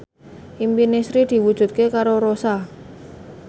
impine Sri diwujudke karo Rossa